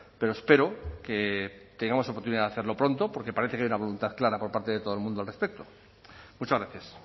pero espero que tengamos oportunidad de hacerlo pronto porque parece que hay una voluntad clara por parte de todo el mundo al respecto muchas gracias